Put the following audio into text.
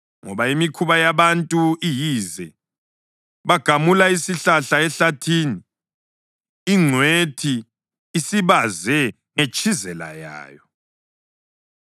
Ngoba imikhuba yabantu iyize, bagamula isihlahla ehlathini, ingcwethi isibaze ngetshizela yayo.